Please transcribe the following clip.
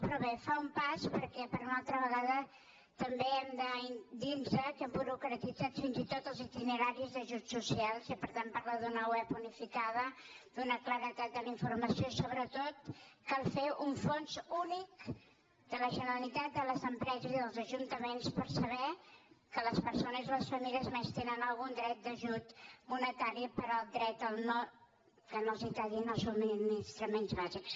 però bé fa un pas perquè per una altra vegada també hem de dirnos que hem burocratitzat fins i tot els itineraris d’ajuts socials i per tant parla d’una web unificada d’una claredat de la informació i sobretot cal fer un fons únic de la generalitat a les empreses i als ajuntaments per saber que les persones i les famílies a més tenen algun dret d’ajut monetari per al dret que no els tallin els subministraments bàsics